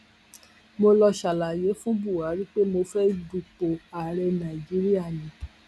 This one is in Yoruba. mo lọọ ṣàlàyé fún buhari pé mo fẹẹ dupò ààrẹ nàíjíríà ni